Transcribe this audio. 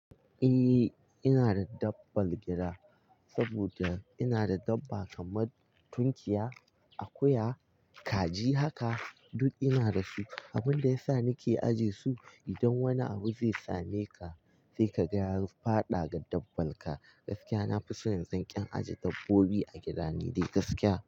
Eh ina da dabbbar gida saboda ina da dabba kamar tunkiya, akuya, kaji haka duk ina da su. Abunda ya sa nike ajiye su idan wani abu zai sameka sai ka ga ya fada ga dabbanka gaskiya nafison yanzu in ajiye dabbobi a gida ni dai gaskiya.